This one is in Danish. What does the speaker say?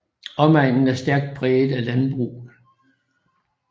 Omegnen er stærkt præget af landbrug